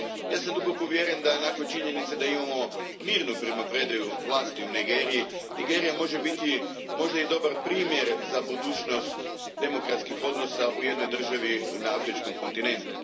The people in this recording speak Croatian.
Ja sam duboko uvjeren da, nakon činjenice da imamo mirnu primopredaju vlasti u Nigeriji, Nigerija može biti možda i dobar primjer za budućnost demokratskih odnosa u jednoj državi na afričkom kontinentu.